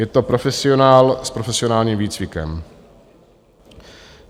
Je to profesionál s profesionálním výcvikem.